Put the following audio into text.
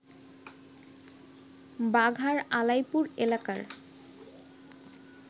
বাঘার আলাইপুর এলাকার